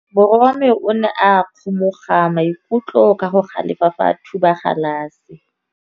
Morwa wa me o ne a kgomoga maikutlo ka go galefa fa a thuba galase.